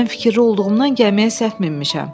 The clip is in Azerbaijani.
Mən fikirli olduğumdan gəmiyə səhv minmişəm.